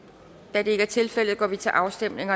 da det ikke er tilfældet går vi til afstemning